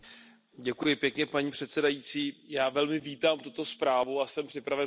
Paní předsedající, já velmi vítám tuto zprávu a jsem připraven pro ni hlasovat.